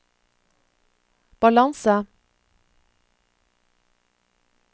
balanse